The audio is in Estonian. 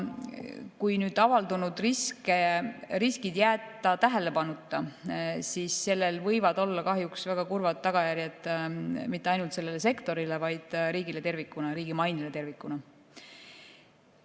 Kui avaldunud riskid jätta tähelepanuta, siis sellel võivad olla kahjuks väga kurvad tagajärjed mitte ainult sellele sektorile, vaid riigile tervikuna, riigi mainele tervikuna.